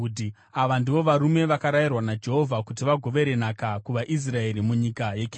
Ava ndivo varume vakarayirwa naJehovha kuti vagovere nhaka kuvaIsraeri munyika yeKenani.